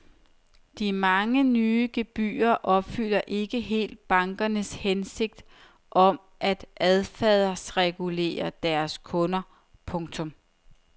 De mange nye gebyrer opfylder ikke helt bankernes hensigt om at adfærdsregulere deres kunder. punktum